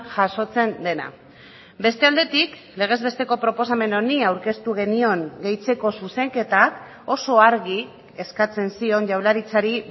jasotzen dena beste aldetik legez besteko proposamen honi aurkeztu genion gehitzeko zuzenketak oso argi eskatzen zion jaurlaritzari